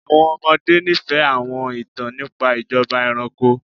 Àwọn ọmọde nifẹ awọn itan nipa ijọba ẹranko